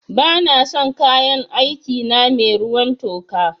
Ba na son kayan aiki na mai ruwan toka